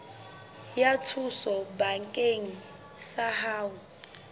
ya thuso bakeng sa ho